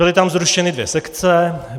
Byly tam zrušeny dvě sekce.